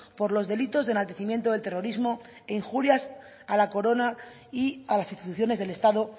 por los delitos de enaltecimiento del terrorismo e injurias a la corona y a las instituciones del estado